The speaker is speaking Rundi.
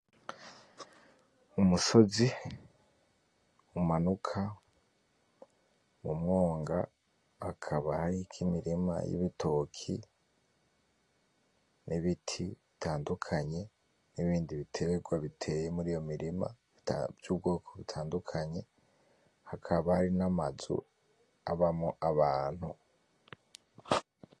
Umusozi umanuka mumwonga hakaba hariko imirima yibitoki, n'ibiti bitandukanye, nibindi bitegwa biteye muri iyo mirima vy'ubwoko butandukanye hakaba hari namazu abamwo abantu.